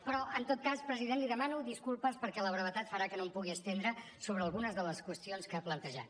però en tot cas president li demano disculpes perquè la brevetat farà que no em pugui estendre sobre algunes de les qüestions que ha plantejat